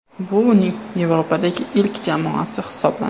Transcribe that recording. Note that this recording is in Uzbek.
Bu uning Yevropadagi ilk jamoasi hisoblanadi.